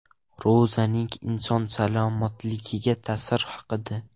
Ro‘zaning inson salomatligiga ta’siri haqida.